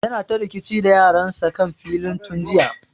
Yana ta rikici da yaran sa kan filin tun jiya